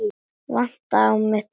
Vantaði á mig tær?